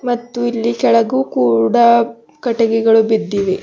ಮತ್ತು ಇಲ್ಲಿ ಕೆಳಗು ಕೂಡ ಕಟ್ಟಿಗೆಗಳು ಬಿದ್ದಿವೆ.